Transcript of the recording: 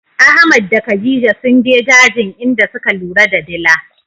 Ahmad da khadija sunje dajin inda suka lura da dila.